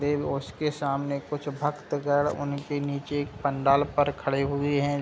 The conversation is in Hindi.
उसके सामने कुछ भक्त गड़ उनके नीचे एक पंडाल पर खड़े हुए हैं।